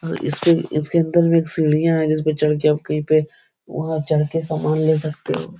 और इसपे इसके अंदर में एक सीढ़ियाँ हैं जिसपे चढ़ के आप कही पे वहाँ आप चढ़ के सामान ले सकते हो।